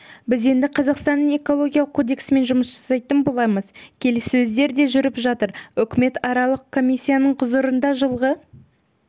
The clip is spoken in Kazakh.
біз енді қазақстанның экологиялық кодексімен жұмыс жасайтын боламыз келіссөздер де жүріп жатыр үкіметаралық комиссияның құзырында жылғы